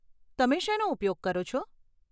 તમે શેનો ઉપયોગ કરો છો?